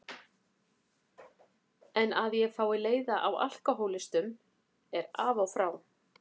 En að ég fái leiða á alkohólistum er af og frá.